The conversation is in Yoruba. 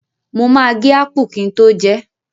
Mo ma gé ápà kin tó jẹẹ́.